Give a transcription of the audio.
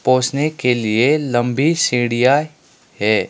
पहुंचने के लिए लंबी सीढ़ियां है।